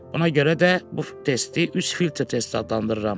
Buna görə də bu testi üç filtr testi adlandırıram.